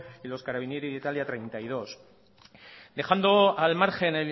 y los carabinieri de italia treinta y dos